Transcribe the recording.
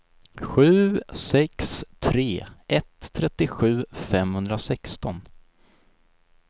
sju sex tre ett trettiosju femhundrasexton